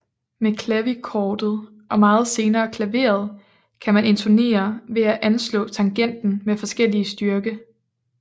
Med klavichordet og meget senere klaveret kan man intonere ved at anslå tangenten med forskellig styrke